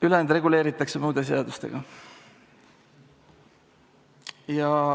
Ülejäänu reguleeritakse muude seadustega.